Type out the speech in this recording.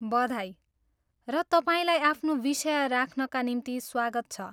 बधाई र तपाईँलाई आफ्नो विषय राख्नका निम्ति स्वागत छ।